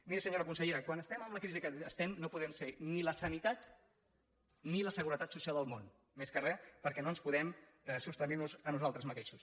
miri senyora consellera quan estem amb la crisi que estem no podem ser ni la sanitat ni la seguretat social del món més que res perquè no ens podem sostenir a nosaltres mateixos